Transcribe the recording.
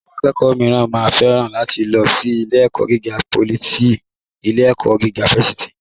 Àwọn akẹ́kọ̀ọ́ mìíràn máa féràn láti lọ sí ilé-ẹ̀kọ́ gíga pólì sí ilé-ẹ̀kọ́ gíga fásitì.